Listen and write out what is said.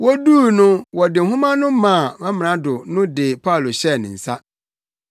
Woduu no wɔde nhoma no maa Amrado no de Paulo hyɛɛ ne nsa.